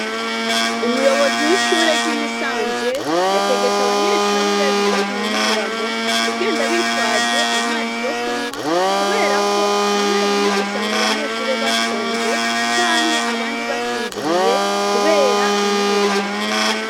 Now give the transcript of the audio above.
Umuyobozi w'ishure ry'imusanze yategetse abanyeshure biga ku muhingamo kugenda bitwaje amazi yo kunywa, kubera ko rimwe rimwe usanga abanyeshure bashonje canke abandi basinziriye, kubera inyota.